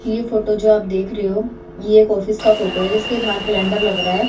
ये फोटो जो आप देख रहे हो ये एक ऑफिस का फोटो है जिसके बाहर कैलेंडर लग रहा है।